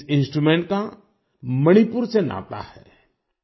इस इंस्ट्रूमेंट का मणिपुर से नाता है